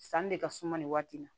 Sanni de ka suma nin waati in na